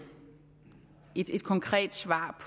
svar